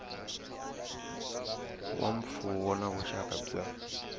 wa mfuwo na vuxaka bya